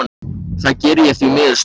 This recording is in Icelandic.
Það geri ég því miður stundum.